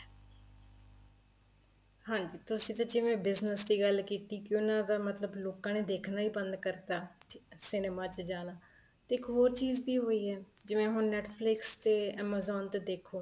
ਹਾਂਜੀ ਤੁਸੀਂ ਤੇ ਜਿਵੇਂ business ਦੀ ਗੱਲ ਕੀਤੀ ਕੀ ਉਹਨਾ ਦਾ ਮਤਲਬ ਲੋਕਾਂ ਦੇ ਦੇਖਣਾ ਹੀ ਬੰਦ ਕਰਤਾ cinema ਚ ਜਾਣਾ ਤੇ ਇੱਕ ਹੋਰ ਚੀਜ਼ ਵੀ ਹੋਈ ਹੈ ਜਿਵੇਂ ਹੁਣ Netflix ਤੇ amazon ਦੇ ਦੇਖੋ